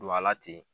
Don a la ten